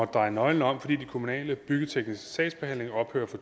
dreje nøglen om fordi den kommunale byggetekniske sagsbehandling ophører fra